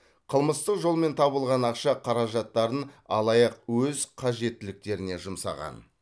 қылмыстық жолмен табылған ақша қаражаттарын алаяқ өз қажеттіліктеріне жұмсаған